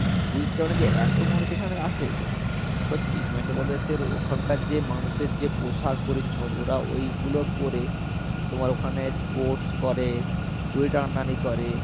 বুঝতে পারবে না যে এত মানুষ এখানে আসে সত্যি ওখানকার যে মানুষের যে পোশাক পরিচ্ছদ ওরা ওই গুলো পড়ে তোমার ওখানে sports করে দড়ি টানাটানি করে